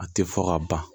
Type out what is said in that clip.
A tɛ fɔ ka ban